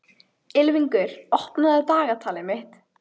Ylfingur, opnaðu dagatalið mitt.